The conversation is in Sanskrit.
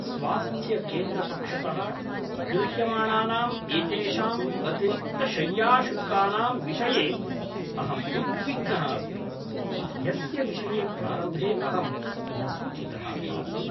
स्वास्थ्यकेन्द्रपक्षतः गृह्यमाणानाम् एतेषाम् अतिरिक्तशय्याशुल्कानां विषये अहं उद्विग्नः अस्मि, यस्य विषये प्रारम्भे अहं न सूचितः आसम्।